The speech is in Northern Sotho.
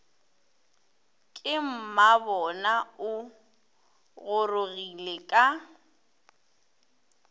ke mmabona o gorogile ka